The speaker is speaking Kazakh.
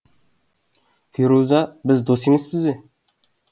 феруза біз дос емеспіз бе